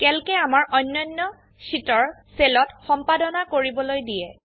ক্যালকে আমাৰ অন্যান্য শীটৰ সেলত সম্পাদনা কৰিবলৈ দিয়ে